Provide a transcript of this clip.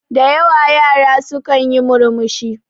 Da yawa yara su kanyi murmushi